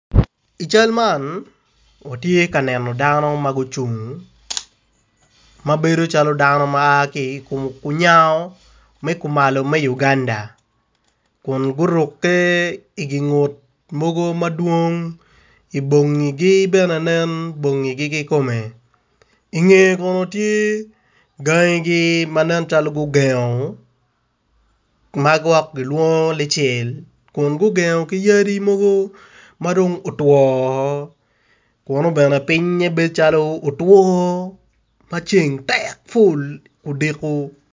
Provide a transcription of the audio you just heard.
I cal man otye ka neno dano magucung ma bedo calo dano ma aa ki kunyango me kumalo me Uganda kun guruke i gi ngut mogo madwong ma bongi gi bene gine bongi gigi kikome i nge kono tye gangi gi ma nen calo gugengo magwok gilengo lungcel ku gugengo ki yadi mogo madong otwo kuno bene pinge bedo calo otwo maceng tek ful odiko.